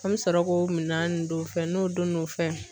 An bɛ sɔrɔ k'o minɛn ninnu don o fɛ n'o don n'o fɛn